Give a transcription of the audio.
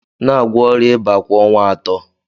N'agwọ ọrịa ịba kwa ọnwa atọ.